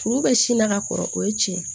Kuru bɛ sin na ka kɔrɔ o ye tiɲɛ ye